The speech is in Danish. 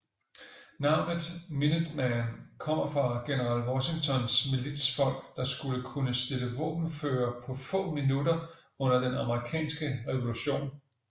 Navnet Minuteman kommer fra general Washingtons militsfolk der skulle kunne stille våbenføre på få minutter under den amerikanske revolution